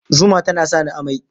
Zuma tana sa ni amai